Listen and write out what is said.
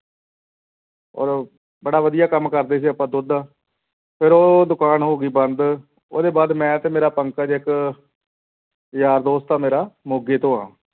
ਔਰ ਬੜਾ ਵਧੀਆ ਕੰਮ ਕਰਦੇ ਸੀ ਆਪਾਂ ਦੁੱਧ ਦਾ, ਫਿਰ ਉਹ ਦੁਕਾਨ ਹੋ ਗਈ ਬੰਦ, ਉਹਦੇ ਬਾਅਦ ਮੈਂ ਤੇ ਮੇਰਾ ਪੰਕਜ ਇੱਕ ਯਾਰ ਦੋਸਤ ਆ ਮੇਰਾ ਮੋਗੇ ਤੋਂ ਆਂ।